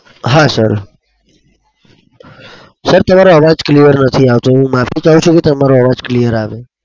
હા sir તમારો અવાજ clear નથી આવતો. હું માફી ચાહું છું કે તમારો અવાજ clear આવે.